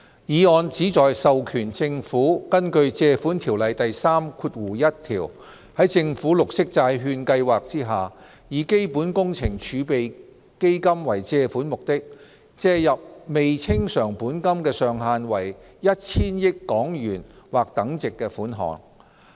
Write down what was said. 議案旨在授權政府根據《借款條例》第31條，在政府綠色債券計劃下，以基本工程儲備基金為借款目的，借入未清償本金的上限為 1,000 億港元或等值款項。